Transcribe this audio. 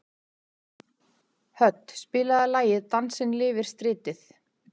Hödd, spilaðu lagið „Dansinn lifir stritið“.